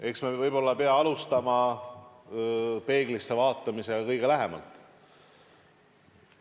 Eks me võib-olla peame alustama peeglisse vaatamisest.